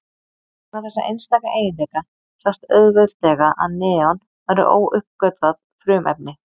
vegna þessa einstaka eiginleika sást auðveldlega að neon væri óuppgötvað frumefni